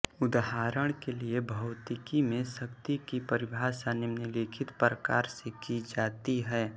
उदाहरण के लिए भौतिकी में शक्ति की परिभाषा निम्नलिखित प्रकार से की जाती है